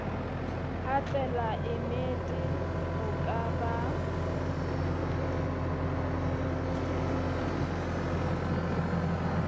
ha tlelaemete ho ka ba